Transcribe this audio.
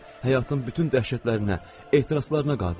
O həyatın bütün dəhşətlərinə, ehtiraslarına qadir idi.